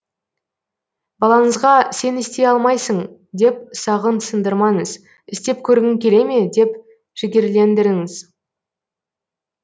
балаңызға сен істей алмайсың деп сағын сындырмаңыз істеп көргің келе ме деп жігерлендіріңіз